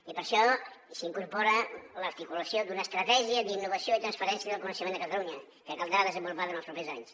i per això s’incorpora l’articulació d’una estratègia d’innovació i transferència del coneixement a catalunya que caldrà desenvolupar durant els propers anys